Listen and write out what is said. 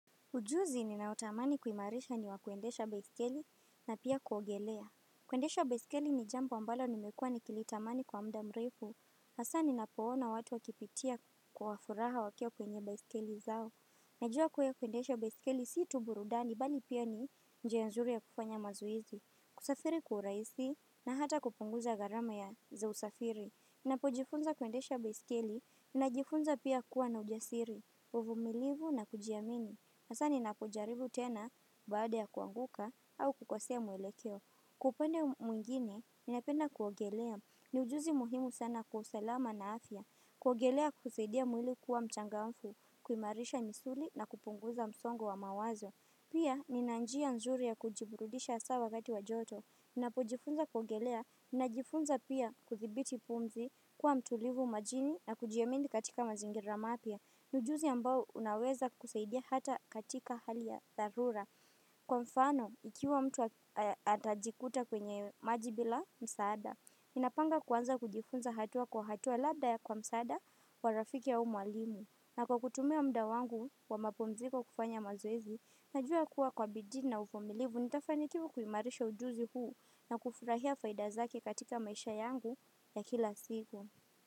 Ujuzi ninao tamani kuimarisha ni wakuendesha besikeli na pia kuogelea. Kuendesha besikeli ni jambo ambalo nimekua nikilitamani kwa muda mrefu. Haswa ninapo ona watu wakipitia kwa furaha wakiwa kwenye baiskeli zao. Najua kweli kuendesha baiskeli si tu burudhani bali pia ni njia nzuri ya kufanya mazoezi. Kusafiri kwa urahisi na hata kupunguza gharama ya za usafiri. Unapojifunza kuendesha baiskeli unajifunza pia kuwa na ujasiri. Uvumilivu na kujiamini hasa ninapojaribu tena baada ya kuanguka au kukosea mwelekeo kwa upande mwingine ninapenda kuongelea niujuzi muhimu sana kwa usalama na afya kuongelea husaidia mwili kuwa mchangamfu kuimarisha misuli na kupunguza msongo wa mawazo Pia nina njia nzuri ya kujiburudisha haswa wakati wa joto ninapojifunza kuongelea Ninajifunza pia kudhibiti pumzi Kwa mtulivu majini na kujiamini katika mazingira mapya ni ujuzi ambao unaweza kukusaidia hata katika hali ya dharura Kwa mfano, ukiwa mtu atajikuta kwenye maji bila msaada ninapanga kuanza kujifunza hatua kwa hatua labda ya kwa msaada wa rafiki au mwalimu na kwa kutumia muda wangu wa mapumziko kufanya mazoezi Najua kuwa kwa bidii na uvimilivu, nitafanikiwa kuimarisha ujuzi huu, na kufurahia faida zake katika maisha yangu ya kila siku.